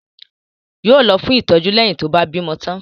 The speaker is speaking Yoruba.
Yóò lọ fún ìtọ́jú leyin tó bá bímọ tán